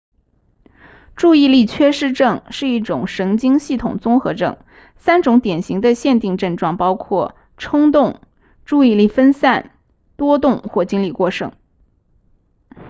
注意力缺失症是一种神经系统综合症三种典型的限定症状包括冲动注意力分散多动或精力过剩